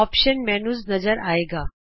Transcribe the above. options menu ਨਜ਼ਰ ਆਏਗਾ